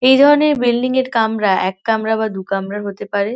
এই ধরনের বিল্ডিং -এর কামরা এক কামরাবা দু কামরার হতে পারে ।